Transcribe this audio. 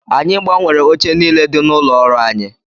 Anyị gbanwere oche niile dị n'ụlọ ọrụ anyị